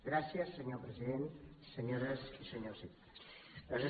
gràcies senyor president senyores i senyors diputats